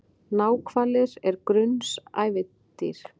Náhvalir er grunnsævisdýr.